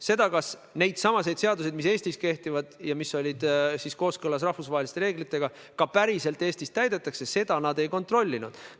Seda, kas neidsamu seadusi, mis Eestis kehtivad ja mis on kooskõlas rahvusvaheliste reeglitega, ka päriselt Eestis täidetakse, nad ei kontrollinud.